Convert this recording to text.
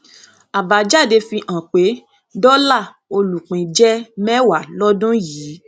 àbájáde fi hàn pé dọlà olùpín jẹ mẹwàá lódún yìí